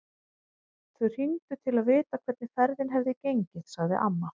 Þau hringdu til að vita hvernig ferðin hefði gengið, sagði amma.